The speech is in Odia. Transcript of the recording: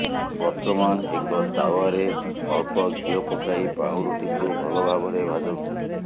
ବର୍ତ୍ତମାନ ଏକ ତାୱାରେ ଅଳ୍ପ ଘିଅ ପକାଇ ପାଉଁରୁଟିକୁ ଭଲ ଭାବରେ ଭାଜନ୍ତୁ